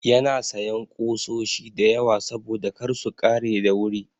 Yana sayan ƙusoshi da yawa saboda kar su ƙare da wuri.